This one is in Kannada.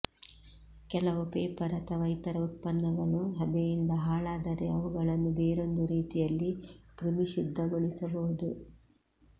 ಕೆಲವು ಪೇಪರ್ ಅಥವಾ ಇತರ ಉತ್ಪನ್ನಗಳು ಹಬೆಯಿಂದ ಹಾಳಾದರೆ ಅವುಗಳನ್ನು ಬೇರೊಂದು ರೀತಿಯಲ್ಲಿ ಕ್ರಿಮಿಶುದ್ಧಗೊಳಿಸಬಹುದು